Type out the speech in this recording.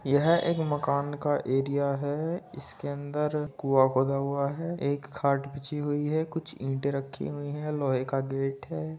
यह एक मकान का एरिया है। इसके अंदर कुंआ खोदा हुआ है एक खाट बिछी हुई है कुछ ईंटें रखी हुई हैं लोहे का गेट है।